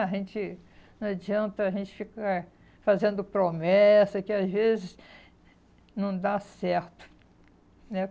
A gente não adianta a gente ficar fazendo promessa que às vezes não dá certo, né?